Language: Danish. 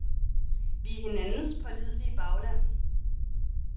Vi er hinandens pålidelige bagland.